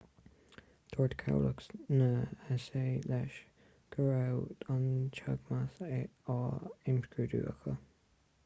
dúirt cabhlach na s.a. leis go raibh an teagmhas á imscrúdú acu